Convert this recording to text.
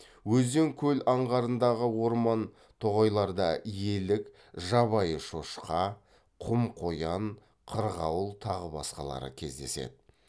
өзен көл аңғарындағы орман тоғайларда елік жабайы шошқа құм қоян қырғауыл тағы басқалары кездеседі